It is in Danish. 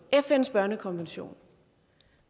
fns børnekonvention